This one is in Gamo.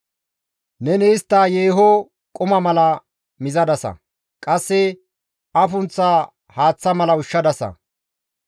Neni istta yeeho quma mala mizadasa; qasse afunththa haaththa mala ushshadasa.